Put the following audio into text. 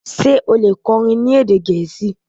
ṣe o le kọrin ni ede Gẹẹsi?